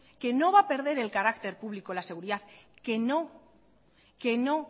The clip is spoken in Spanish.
no va a perder el carácter público la seguridad que no